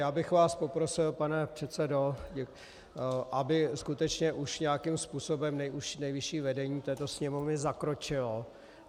Já bych vás poprosil, pane předsedo, aby skutečně už nějakým způsobem nejvyšší vedení této Sněmovny zakročilo.